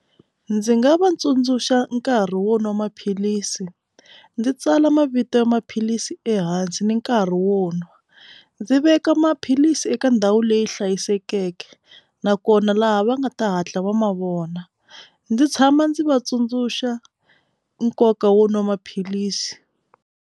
Ndzi nga va tsundzuxa nkarhi wo nwa maphilisi ndzi tsala mavito ya maphilisi ehansi ni nkarhi wo nwa ndzi veka maphilisi eka ndhawu leyi hlayisekeke nakona laha va nga ta hatla va mavona ndzi tshama ndzi vatsundzuxa nkoka wo nwa maphilisi.